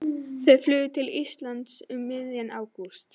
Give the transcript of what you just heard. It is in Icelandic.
Þau flugu til Íslands um miðjan ágúst.